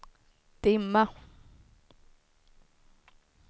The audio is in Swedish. dimma